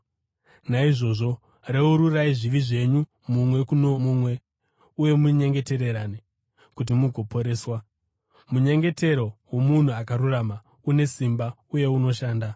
Naizvozvo reururai zvivi zvenyu mumwe kuno mumwe uye munyengetererane kuti mugoporeswa. Munyengetero womunhu akarurama une simba uye unoshanda.